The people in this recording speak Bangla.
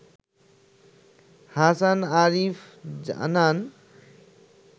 হাসান আরিফ জানান